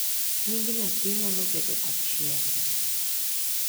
nying nyathi nyalo bedo achiel